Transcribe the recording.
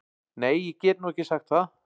Nei ég get nú ekki sagt það.